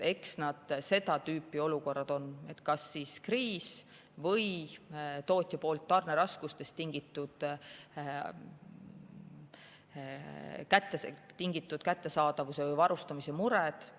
Eks need seda tüüpi olukorrad on, kas kriis või tootja tarneraskustest tingitud kättesaadavuse või varustamise mured.